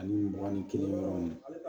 Ani mugan ni kelen dɔrɔn